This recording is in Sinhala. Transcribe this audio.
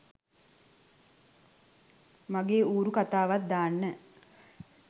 මගේ ඌරු කතාවත් දාන්න